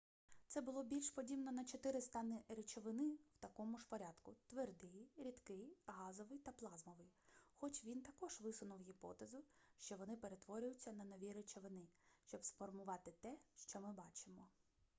це було більш подібно на чотири стани речовини в такому ж порядку: твердий рідкий газовий та плазмовий хоч він також висунув гіпотезу що вони перетворюються на нові речовини щоб сформувати те що ми бачимо